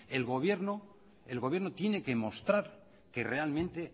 el gobierno tiene que mostrar que realmente